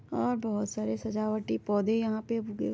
और बहुत सारे सजावटी पौधे यहाँ पे उगे--